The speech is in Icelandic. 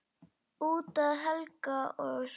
Út af Helga og svona.